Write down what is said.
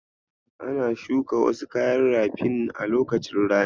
Ana shuka wasu kayan rafin a lokacin rani.